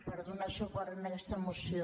per donar suport a aquesta moció